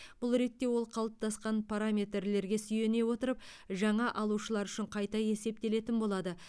бұл ретте ол қалыптасқан параметрлерге сүйене отырып жаңа алушылар үшін қайта есептелетін болады